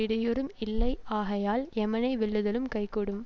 இடையூறும் இல்லையாகையால் எமனை வெல்லுதலும் கைகூடும்